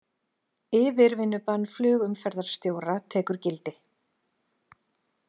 Yfirvinnubann flugumferðarstjóra tekur gildi